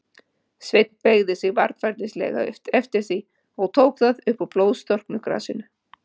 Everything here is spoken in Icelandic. Sveinn beygði sig varfærnislega eftir því, og tók það upp úr blóðstorknu grasinu.